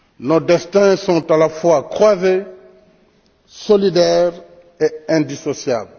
Nos destins sont à la fois croisés, solidaires et indissociables.